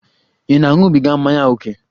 Ị na-aṅụbiga mmanya ókè?